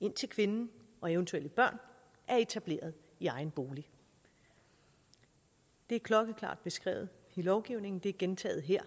indtil kvinden og eventuelle børn er etableret i egen bolig det er klokkeklart beskrevet i lovgivningen det er gentaget her